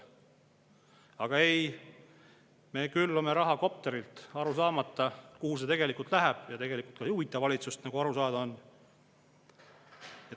Aga ei, me külvame raha kopterilt, aru saamata, kuhu see läheb, ja tegelikult ei huvita see ka valitsust, nagu aru saada on.